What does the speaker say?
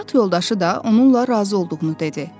Həyat yoldaşı da onunla razı olduğunu dedi.